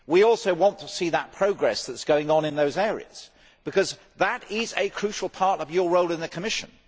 we also want to see the progress which is going on in those areas, because that is a crucial part of your role in the Commission.